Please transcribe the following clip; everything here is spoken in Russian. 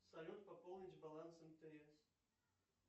салют пополнить баланс мтс